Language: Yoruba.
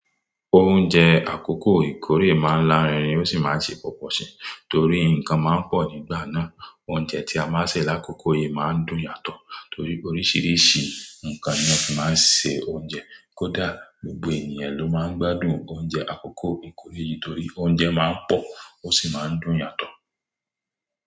Oúnjẹ àkọ́kọ́ Ìkòrè máa ń lá rinrin ó sì máa ń ṣe pọ̀pọ̀ si torí nǹkan máa ń pọ̀ nígbà náà. Oúnjẹ tí a máa ń sè lákòókò yìí máa ń dùn yàtọ̀ torí oríṣìíríṣìí nǹkan ni won fi máa ń ṣe oúnjẹ. Kódà gbogbo ènìyàn ló máa ń gbádùn oúnjẹ àkọ́kọ́ Ìkòrè yìí torí oúnjẹ máa ń pọ̀ ó sì máa ń dùn yàtọ̀.